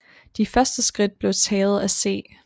De første skridt blev taget af C